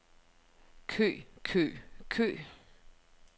kø kø kø